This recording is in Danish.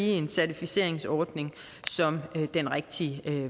en certificeringsordning som den rigtige